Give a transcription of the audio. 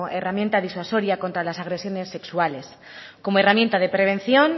herramienta disuasoria contra las agresiones sexuales como herramienta de prevención